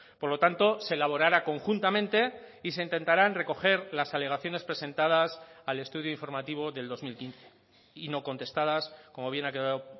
por lo tanto se elaborará conjuntamente y se intentarán recoger las alegaciones presentadas al estudio informativo del dos mil quince y no contestadas como bien ha quedado